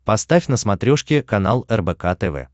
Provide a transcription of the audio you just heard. поставь на смотрешке канал рбк тв